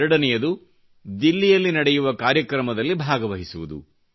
ಎರಡನೆಯದು ದಿಲ್ಲಿಯಲ್ಲಿ ನಡೆಯುವ ಕಾರ್ಯಕ್ರಮದಲ್ಲಿ ಭಾಗವಹಿಸುವುದು